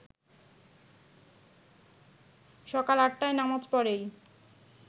সকাল ৮ টায় নামাজ পড়েই